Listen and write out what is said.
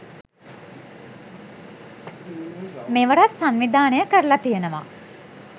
මෙවරත් සංවිධානය කරලා තියෙනවා.